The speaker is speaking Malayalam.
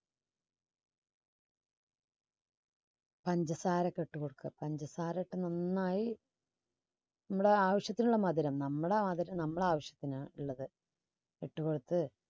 പഞ്ചസാര ഒക്കെ ഇട്ടുകൊടുക്കുക. പഞ്ചസാര ഒക്കെ നന്നായി നമ്മുടെ ആവശ്യത്തിനുള്ള മധുരം നമ്മുടെ ആ നമ്മളെ ആവശ്യത്തിന് ഉള്ളത് ഇട്ടുകൊടുത്ത്